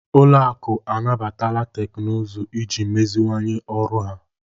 Ụlọ akụ anabatala teknụzụ iji meziwanye ọrụ ha.